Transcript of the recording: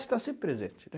está sempre presente.